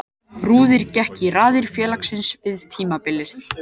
Rúrik gekk í raðir félagsins fyrir tímabilið.